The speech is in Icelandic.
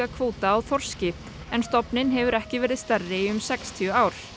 kvóta á þorski en stofninn hefur ekki verið stærri í um sextíu ár